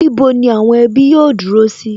Níbo ni àwọn ẹbí yóò dúró sí?